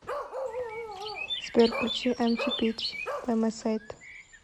сбер включи эмчи бич бай май сайд